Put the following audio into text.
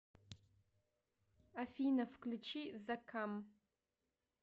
афина включи заккам